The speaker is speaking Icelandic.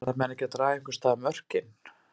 Verða menn ekki að draga einhvers staðar mörkin?